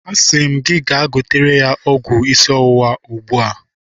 Asị m gị gaa gotere m ọgwụ isi ọwụwa ugbua!